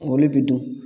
O de bi dun